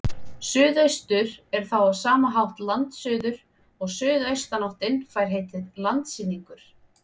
Suðaustur er þá á sama hátt landsuður og suðaustanáttin fær heitið landsynningur.